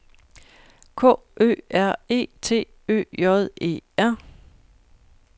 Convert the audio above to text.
K Ø R E T Ø J E R